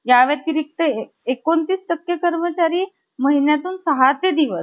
कर्वे यांचाही कंठ दाटून आला. पण कर्वे यांना विशेष समाधान झालं. ते त्या~ ते याच झालं कि आईनं~ आईनं आणि भावानं आश्रम बघून,